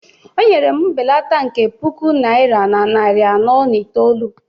O nyere m mbelata nke puku naira na narị anọ na itoolu.